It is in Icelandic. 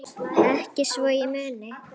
Ekki svo ég muni.